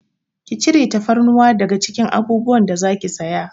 Ki cire tafarnuwa daga cikin abubuwan da zaki saya!